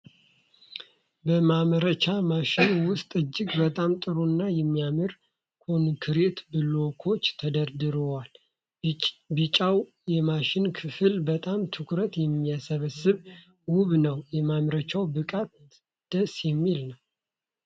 በማምረቻ ማሽን ውስጥ እጅግ በጣም ጥሩ እና የሚያምር ኮንክሪት ብሎኮች ተደረድሯሉ። ቢጫው የማሽን ክፍል በጣም ትኩረትን የሚስብና ውብ ነው። የማምረቻው ብቃት ደስ የሚል ነው።